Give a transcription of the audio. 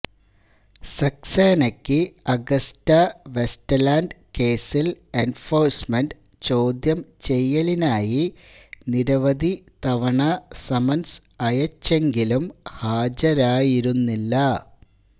സക്സേനയ്ക്ക് Agusta Westland കേസില് enforcement ചോദ്യം ചെയ്യലിനായി നിരവധി തവണ സമന്സ് അയച്ചെങ്കിലും ഹാജരായിരുന്നില്ല